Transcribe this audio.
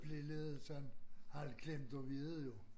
Blive lidt sådan halvklemte ved det jo